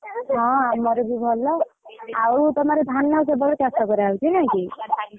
ହଁ ଆମର ବି ଭଲ। ଆଉ ତମର ଧାନ କେବଳ ଚାଷ କରାଯାଉଛି ନା କି?